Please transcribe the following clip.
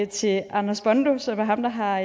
til anders bondo som er ham der har